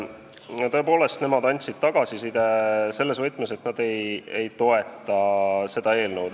Jah, tõepoolest, nemad andsid tagasiside selles võtmes, et nad ei toeta seda eelnõu.